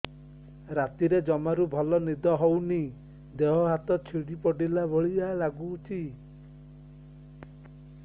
ରାତିରେ ଜମାରୁ ଭଲ ନିଦ ହଉନି ଦେହ ହାତ ଛିଡି ପଡିଲା ଭଳିଆ ଲାଗୁଚି